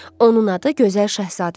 Onun adı gözəl Şahzadədir.